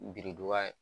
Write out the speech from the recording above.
Biriduga